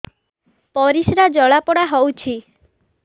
ପରିସ୍ରା ଜଳାପୋଡା ହଉଛି